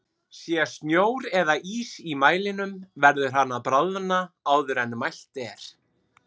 Sé snjór eða ís í mælinum verður hann að bráðna áður en mælt er.